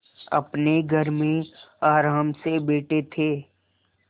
अपने घर में आराम से बैठे थे